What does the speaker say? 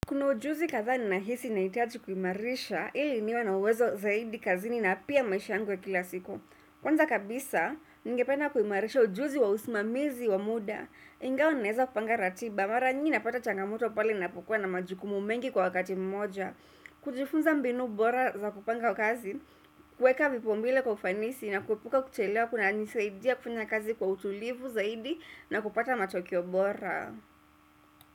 Kuna ujuzi kadhaa ni nahisi nahitaji kuimarisha ili niwe na uwezo zaidi kazini na pia maisha yangu ya kila siku. Kwanza kabisa, ninge penda kuimarisha ujuzi wa usimamizi wa muda. Ingawa ninaeza kupanga ratiba mara nyingi napata changamoto pale ninapokuwa na majukumu mengi kwa wakati mmoja. Kujifunza mbinu bora za kupanga kazi, kuweka vipa umbele kwa ufanisi na kuepuka kuchelewa kuna nisaidia kufanya kazi kwa utulivu zaidi na kupata matokeo bora.